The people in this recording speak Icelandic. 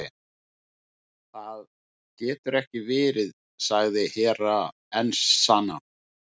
Það getur ekki verið, sagði Hera Enzana.